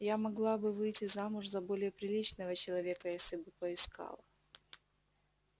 я могла бы выйти замуж за более приличного человека если бы поискала